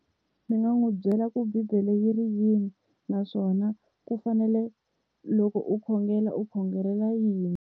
Ndzi nga n'wi byela ku bibele yi ri yini naswona ku fanele loko u khongela u khongelela yini.